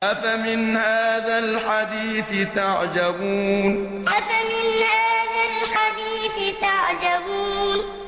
أَفَمِنْ هَٰذَا الْحَدِيثِ تَعْجَبُونَ أَفَمِنْ هَٰذَا الْحَدِيثِ تَعْجَبُونَ